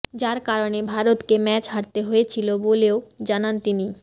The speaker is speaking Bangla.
যার কারণে ভারতকে ম্যাচ হারতে হয়েছিল বলেও জানান তিনি